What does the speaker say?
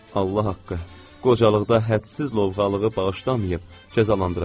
Allah haqqı, qocalıqda hədsiz lovğalığı bağışlamayıb, cəzalandıracaq.